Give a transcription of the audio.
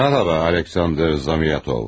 Salam, Aleksandr Zamiatov.